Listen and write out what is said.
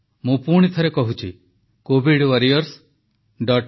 ମୁଁ ପୁଣିଥରେ କହୁଛି covidwarriorsgovin